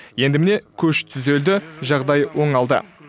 енді міне көш түзелді жағдай оңалды